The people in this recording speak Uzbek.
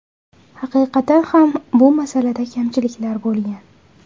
Haqiqatan ham bu masalada kamchiliklar bo‘lgan.